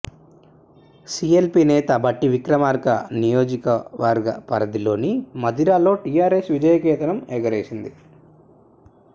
CLP నేత భట్టి విక్రమార్క నియోజక వర్గ పరిధిలోని మధిరలో టీఆర్ఎస్ విజయ కేతనం ఎగుర వేసింది